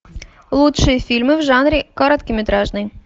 лучшие фильмы в жанре короткометражный